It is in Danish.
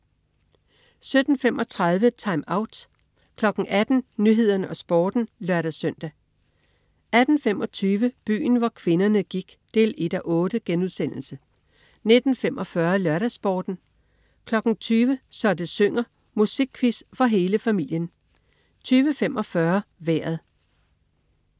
17.35 TimeOut 18.00 Nyhederne og Sporten (lør-søn) 18.25 Byen hvor kvinderne gik 1:8* 19.45 LørdagsSporten 20.00 Så det synger. Musikquiz for hele familien 20.45 Vejret